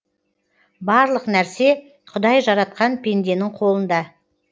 барлық нәрсе құдай жаратқан пенденің қолында